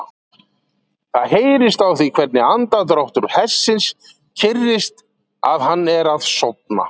Það heyrist á því hvernig andardráttur hestsins kyrrist að hann er að sofna.